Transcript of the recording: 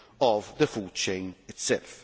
of the food chain itself.